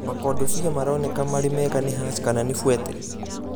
Makondobĩa maroneka marĩ mega nĩ Hass kana nĩ Fuete